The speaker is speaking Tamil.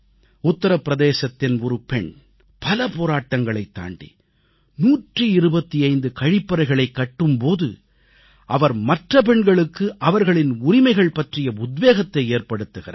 உத்தர பிரதேசத்தின் ஒரு பெண் பல போராட்டங்களைத் தாண்டி 125 கழிப்பறைகளைக் கட்டும் போது அவர் மற்ற பெண்களுக்கு அவர்களின் உரிமைகள் பற்றிய உத்வேகத்தை ஏற்படுத்துகிறார்